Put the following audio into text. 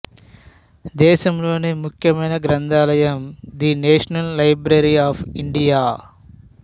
దేశంలోనే ముఖ్యమైన గ్రంథాలయం the national library of India